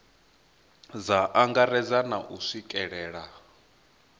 dza angaredza na u swikelelea